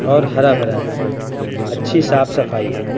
और हरा भरा हैअच्छी साफ सफाई हैं।